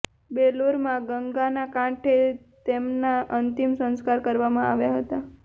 બેલુરમાં ગંગાના કાંઠે તેમના અંતિમ સંસ્કાર કરવામાં આવ્યા હતા